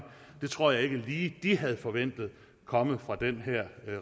det tror jeg ikke lige de havde forventet komme fra den her